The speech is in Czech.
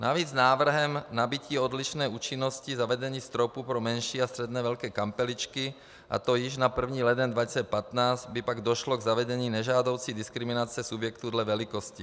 Navíc návrhem nabytí odlišné účinnosti zavedení stropu pro menší a středně velké kampeličky, a to již na 1. leden 2015, by pak došlo k zavedení nežádoucí diskriminace subjektů dle velikosti.